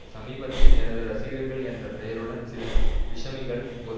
சமீபத்தில் எனது ரசிகர்கள் என்ற பெயருடன் சில விஷமிகள் ஒரு